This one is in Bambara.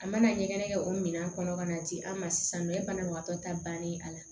A mana ɲɛgɛn kɛ o minɛn kɔnɔ ka na di an ma sisan banabagatɔ ta bannen a la